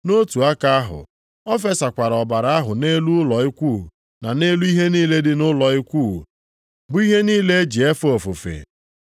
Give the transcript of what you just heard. Nʼotu aka ahụ, o fesakwara ọbara ahụ nʼelu ụlọ ikwu na nʼelu ihe niile dị nʼụlọ ikwu, bụ ihe niile e ji efe ofufe.